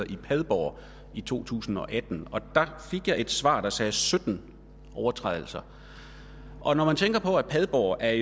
i padborg i to tusind og atten der fik jeg et svar der sagde sytten overtrædelser padborg er